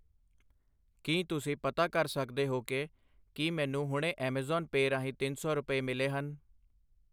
ਕੀ ਤੁਸੀਂਂ ਪਤਾ ਕਰ ਸਕਦੇ ਹੋ ਕਿ ,ਕੀ ਮੈਨੂੰ ਹੁਣੇ ਐਮਾਜ਼ੋਨ ਪੇਅ ਰਾਹੀਂ ਤਿੰਨ ਸੌ ਰੁਪਏ ਮਿਲੇ ਹਨ?